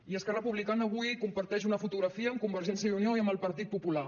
i esquerra republicana avui comparteix una fotografia amb convergència i unió i amb el partit popular